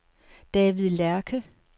David Lerche